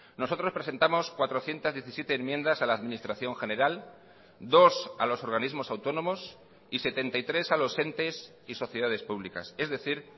nosotros presentamos cuatrocientos diecisiete enmiendas a la administración general dos a los organismos autónomos y setenta y tres a los entes y sociedades públicas es decir